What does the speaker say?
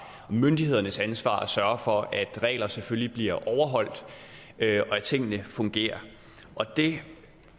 myndighedernes ansvar at sørge for at reglerne selvfølgelig bliver overholdt og at tingene fungerer det